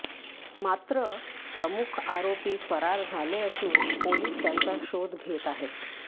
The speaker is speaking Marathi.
मात्र प्रमुख आरोपी फरार झाले असून पोलिस त्यांचा शोध घेत आहेत